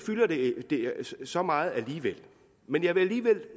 så meget men jeg vil alligevel